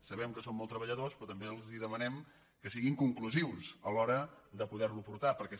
sabem que són molt treballadors però també els demanem que siguin conclusius a l’hora de poder lo portar perquè